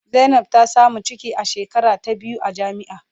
Zainab ta samu ciki a shekara ta biyu a jami'a.